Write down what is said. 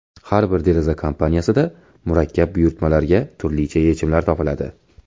Har bir deraza kompaniyasida murakkab buyurtmalarga turlicha yechimlar topiladi.